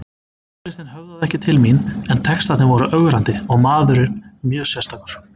Tónlistin höfðaði ekki til mín en textarnir voru ögrandi og maðurinn mjög sérstakur.